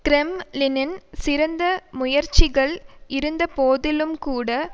கிரெம்ளினின் சிறந்த முயற்சிகள் இருந்தபோதிலும்கூட